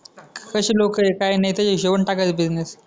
कशी लोकं ये काय आहे त्या हिशोबाने टाकायचा बिझनेस